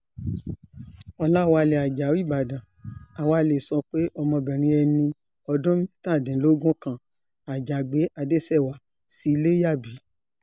ọ̀làwálẹ̀ ajáò ìbàdàn a wá lè sọ pé ọmọbìnrin ẹni ọdún mẹ́tàdínlógún kan àjàgbé adéṣèwá sí ilé yá bí